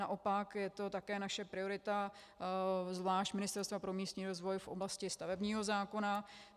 Naopak, je to také naše priorita, zvlášť Ministerstva pro místní rozvoj, v oblasti stavebního zákona.